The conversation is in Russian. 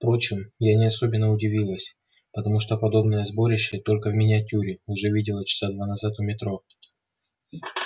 впрочем я не особенно удивилась потому что подобное сборище только в миниатюре уже видела часа два назад у метро